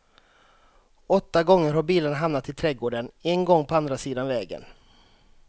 Åtta gånger har bilarna hamnat i trädgården, en gång på andra sidan vägen.